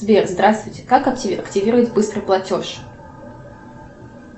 сбер здравствуйте как активировать быстрый платеж